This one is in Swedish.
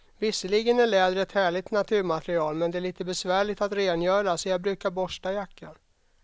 Visserligen är läder ett härligt naturmaterial, men det är lite besvärligt att rengöra, så jag brukar borsta jackan.